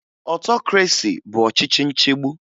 Otokresi bụ ọchịchị nchigbu